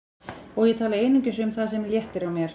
Og ég tala einungis um það sem léttir á mér.